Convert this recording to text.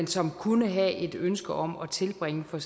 som kunne have et ønske om at tilbringe for